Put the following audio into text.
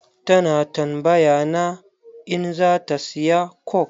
Ta na tambaya na in za ta siya coke.